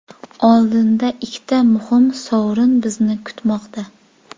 Oldinda ikkita muhim sovrin bizni kutmoqda.